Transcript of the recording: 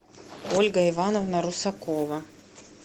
ольга ивановна русакова